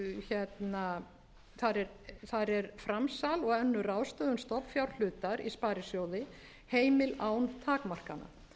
er framsal og önnur ráðstöfun stofnfjárhlutar í sparisjóði heimil án takmarkana